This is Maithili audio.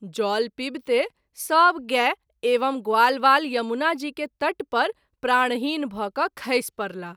जल पीविते सभ गाय एवं ग्वालवाल यमुना जी के तट पर प्राणहीन भ’ क’ खैसि परलाह।